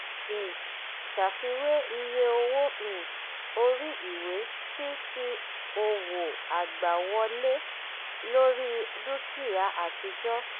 um ṣàfiwé iye owó um orí ìwé sí ti òwò agbàwọlé lórí dúkìá àtijọ́.